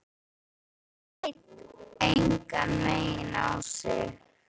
Hún leit engan veginn á sig.